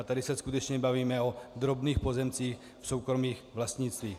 A tady se skutečně bavíme o drobných pozemcích v soukromých vlastnictvích.